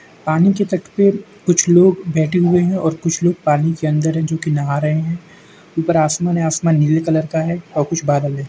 पानी के तट पे कुछ लोग बेठे हुए हैं और कुछ लोग पानी के अंदर हैं जो कि नहा रहे हैं। ऊपर आसमान है आसमान नीले कलर का है और कुछ बादल है।